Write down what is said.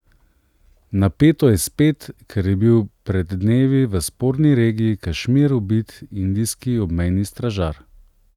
Napeto je spet, ker je bil pred dnevi v sporni regiji Kašmir ubit indijski obmejni stražar.